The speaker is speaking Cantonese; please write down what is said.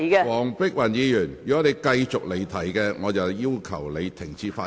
黃碧雲議員，如果你繼續離題，我會要求你停止發言。